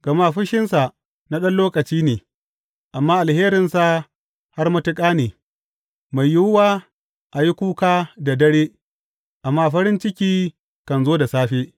Gama fushinsa na ɗan lokaci ne amma alherinsa har matuƙa ne; mai yiwuwa a yi kuka da dare amma farin ciki kan zo da safe.